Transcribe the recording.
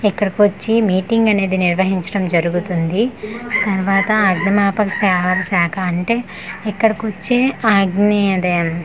ఇక్కడికి వచ్చి మీటింగ్ అనేది నిర్వహించడం జరుగుతుంది తర్వాత అగ్నిమాపక సేవల శాఖ అంటే ఇక్కడోకొచ్చే అగ్ని అదే.